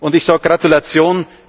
Dank! Ich sage Gratulation!